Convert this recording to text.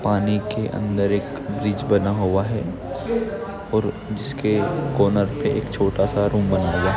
पानी के अंदर एक ब्रिज बना हुआ है और जिसके कॉर्नर पे एक छोटा सा रूम बना हुआ--